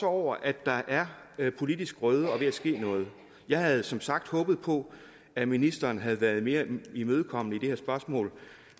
over at der er politisk grøde og ved at ske noget jeg havde som sagt håbet på at ministeren havde været mere imødekommende i det her spørgsmål